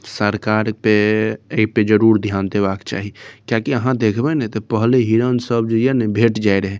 सरकार पे ऐपे जरूर ध्यान देवा के चाही कियाकी आहाँ देखबे ने ते पहले हिरण सब जे ये ना भेट जाए रहे।